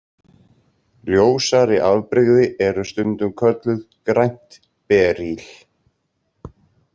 Ljósari afbrigði eru stundum kölluð „grænt berýl“.